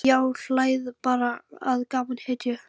Já, hlæið bara að gamalli hetju.